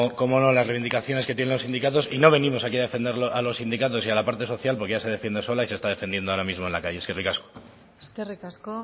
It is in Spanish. cómo no las reivindicaciones que tienen los sindicatos y no venimos aquí a defender a los sindicatos y a la parte social porque ya se defiende sola y se está defendiendo ahora mismo en la calle eskerrik asko eskerrik asko